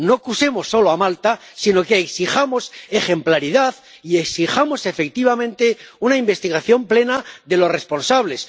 No acusemos solo a Malta, sino que exijamos ejemplaridad y exijamos, efectivamente, una investigación plena de los responsables.